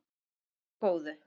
Verði ykkur að góðu.